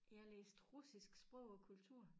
Jeg læste russisk sprog og kultur